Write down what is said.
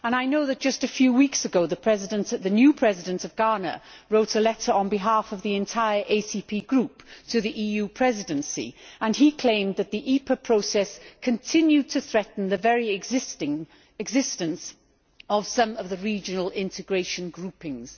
I know that just a few weeks ago the new President of Ghana wrote a letter on behalf of the entire ACP group to the EU Presidency, and he claimed that the EPA process continued to threaten the very existence of some of the regional integration groupings.